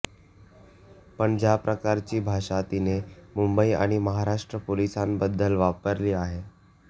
पण ज्या प्रकारची भाषा तिने मुंबई आणि महाराष्ट्र पोलिसांबद्दल वापरली आहे